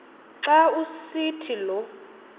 xa usithi lo